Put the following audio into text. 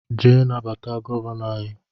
jee nabata Gọvanọ anyị